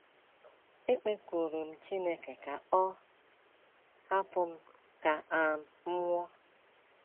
Ekpekuru m Chineke ka ọ hapụ m ka um m nwụọ.